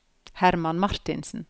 Herman Martinsen